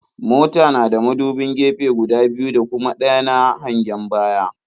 Mota na da muduban gefe guda biyu da kuma ɗaya na hangen baya.